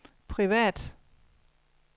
privat